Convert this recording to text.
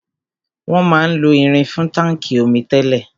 Wọn máa ń lo irin fún táńkì omi tẹ́lẹ̀.